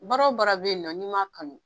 Baara o baara bɛ yen nɔ n'i m'a kanu